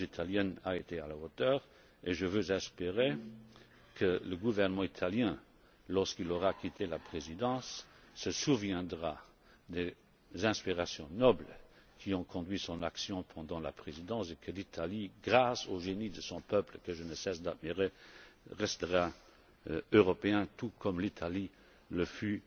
La Présidence italienne a été à la hauteur et je veux espérer que le gouvernement italien, lorsqu'il aura quitté la Présidence, se souviendra des inspirations nobles qui ont conduit son action pendant la Présidence et que l'Italie, grâce au génie de son peuple que je ne cesse d'admirer, restera européenne tout comme elle